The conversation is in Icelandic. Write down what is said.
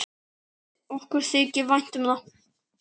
Okkur þykir vænt um það.